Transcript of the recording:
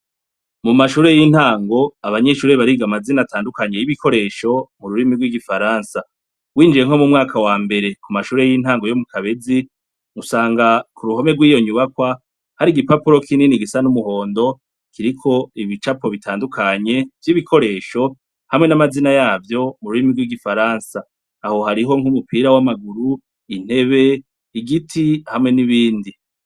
Mumashure yintango abanyeshure bariga amazina atandukanye yibikoresho mururimi rwigifaransa winjiye nko mumwaka wambere kumashure yintango yo mukabezi usanga kuruhome rwiyo nyubakwa hari igipapuro kinini gisa numuhondo kiriko ibicapo bitandukanye vyibikoresho hamwe namazina yavyo mururimi rwigifaransa aho hariho nkumupira wamaguru intebe igiti hamwe nibindi